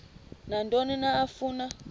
nantoni na afuna